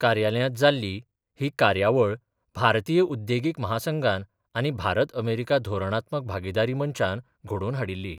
कार्यालयांत जाल्ली ही कार्यावण भारतीय उद्देगीक म्हासंघान आनी भारत अमेरिका धोरणात्मक भागिदारी मंचान घडोवन हाडिल्ली.